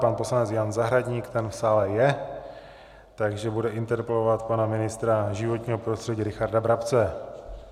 Pan poslanec Jan Zahradník - ten v sále je, takže bude interpelovat pana ministra životního prostředí Richarda Brabce.